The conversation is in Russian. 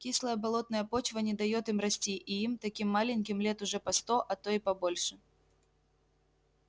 кислая болотная почва не даёт им расти и им таким маленьким лет уже по сто а то и побольше